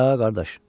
Hə, qardaş.